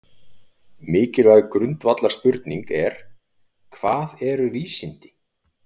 Mikilvæg grundvallarspurning er: Hvað eru vísindi?